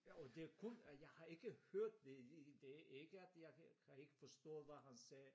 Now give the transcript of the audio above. Jo det kun jeg har ikke hørt det det ikke at jeg kan ikke forstå hvad han sagde